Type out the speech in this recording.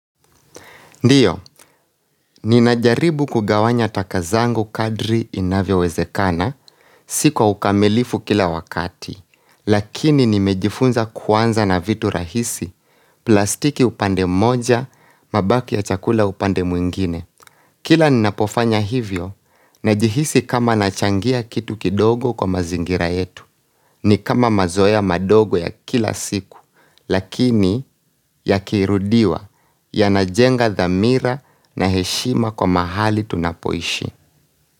Ndiyo, ninajaribu kugawanya taka zangu kadri inavyowezekana, si kwa ukamilifu kila wakati, lakini nimejifunza kuanza na vitu rahisi, plastiki upande moja, mabaki ya chakula upande mwingine. Kila ninapofanya hivyo, najihisi kama nachangia kitu kidogo kwa mazingira yetu, ni kama mazoea madogo ya kila siku, lakini yakirudiwa, yanajenga dhamira na heshima kwa mahali tunapoishi.